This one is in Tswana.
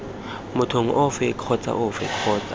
mothong ofe kgotsa ofe kgotsa